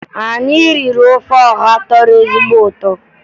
Anyị riri ofe ọha tọrọ ezigbo ụtọ